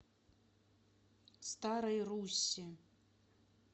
старой руссе